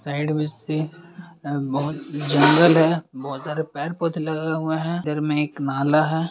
Side में से अ बहुत जंगल है बहुत सारे पेड़ पौधे लगे हुए हैं इधर में एक नाला है। साइड में से अ बहुत जंगल है बहुत सारे पेड़ पौधे लगे हुए हैं इधर में एक नाला है।